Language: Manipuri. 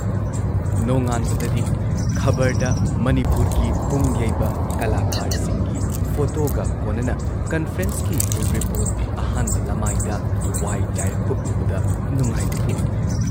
ꯅꯣꯡꯉꯥꯟꯕꯗꯗꯤ ꯈꯕꯔꯗ ꯃꯅꯤꯄꯨꯔꯒꯤ ꯄꯨꯡꯌꯩꯕ ꯀꯂꯥꯀꯥꯔꯁꯤꯡꯒꯤ ꯐꯣꯇꯣꯒ ꯀꯣꯟꯅꯅ ꯀꯟꯐꯔꯦꯟꯁꯀꯤ ꯔꯤꯄꯣꯔꯠ ꯑꯍꯥꯟꯕ ꯂꯥꯃꯥꯏꯗ ꯋꯥꯏ ꯆꯥꯏꯔꯛꯄ ꯎꯕꯗ ꯅꯨꯡꯉꯥꯏꯕ ꯄꯣꯛꯏ ꯫